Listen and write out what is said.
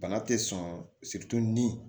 Bana tɛ sɔn ni